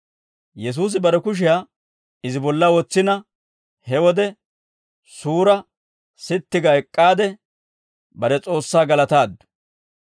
Yesuusi bare kushiyaa izi bolla wotsina, he wode suura sitti ga ek'k'aade bare S'oossaa galataaddu.